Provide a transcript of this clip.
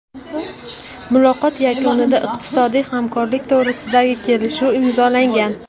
Muloqot yakunida iqtisodiy hamkorlik to‘g‘risidagi kelishuv imzolangan.